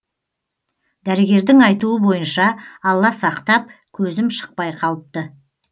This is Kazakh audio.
дәрігердің айтуы бойынша алла сақтап көзім шықпай қалыпты